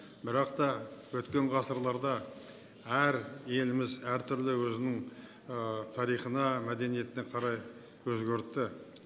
бірақ та өткен ғасырларда әр еліміз әртүрлі өзінің тарихына мәдениетіне қарай өзгерді